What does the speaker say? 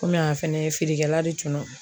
Komi a fɛnɛ ye feerekɛla de tun don